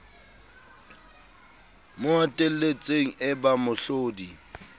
mo hatelletseng e ba mohlodi